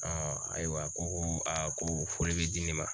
ayiwa ko ko ko foli be di ne ma